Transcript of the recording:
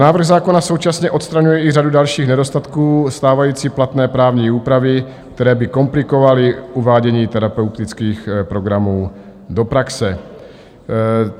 Návrh zákona současně odstraňuje i řadu dalších nedostatků stávající platné právní úpravy, které by komplikovaly uvádění terapeutických programů do praxe.